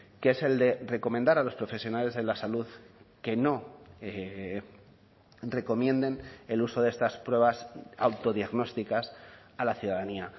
que es el de recomendar a los profesionales de la salud que no recomienden el uso de estas pruebas autodiagnósticas a la ciudadanía